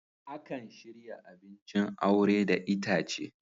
Akan shirya abincin aure da itace.